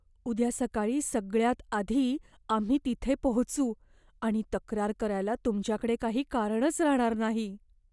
उद्या सकाळी सगळ्यात आधी आम्ही तिथे पोहोचू आणि तक्रार करायला तुमच्याकडे काही कारणच राहणार नाही.